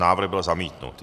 Návrh byl zamítnut.